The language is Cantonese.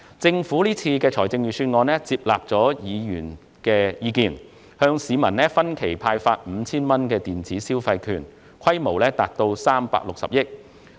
政府這份預算案接納了議員的意見，向市民分期派發 5,000 元電子消費券，所涉金額達360億元。